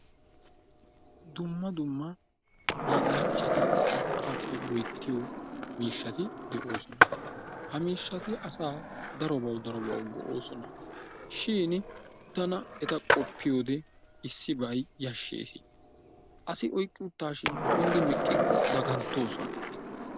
dumma dumma hiillanchati urqqaappe loyttiyoo miishshati de'oosona. ha miishshati asaa darobawu darobawu go"oosona. shin tana eta qopiyyode iisibay yaashshees. asi oyqqi uttashin kunddidi meqiko dagantoosona.